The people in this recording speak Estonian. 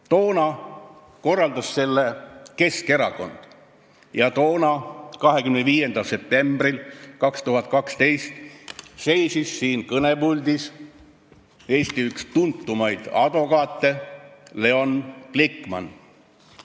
Toona korraldas selle Keskerakond ja toona, 25. septembril 2012 seisis siin kõnepuldis Eesti üks tuntumaid advokaate Leon Glikman.